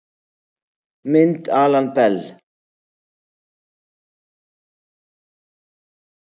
Mynd Alan Bell